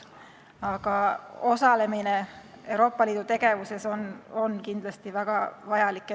Aga osalemine Euroopa Liidu tegevuses on kindlasti väga vajalik.